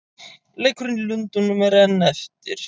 Leikurinn í Lundúnum er enn eftir.